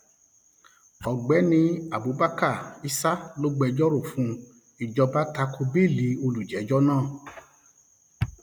ọgbẹni um abubakar issa tó gbẹjọ rọ fún um ìjọba ta ko béèlì olùjẹjọ náà